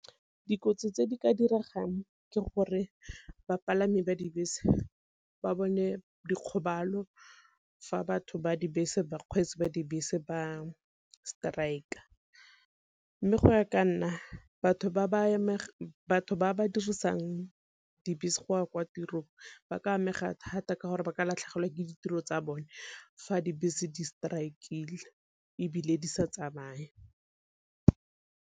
Dikotsi tse di ka diregang ke gore bapalami ba dibese ba bone dikgobalo fa batho ba dibese, bakgweetsi ba dibese ba strike-a. Mme go ya ka nna batho ba ba dirisang dibese go ya kwa tirong ba ka amega thata ka gore ba ka latlhegelwa ke ditiro tsa bone fa dibese di strike-ile ebile di sa tsamaye.